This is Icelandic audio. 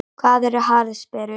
Hvað eru harðsperrur?